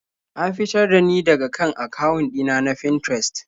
An fitar da ni daka kan akawun ɗina na Finterest.